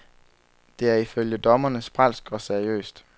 Det er ifølge dommerne sprælsk og seriøst.